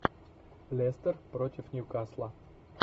лестер против ньюкасла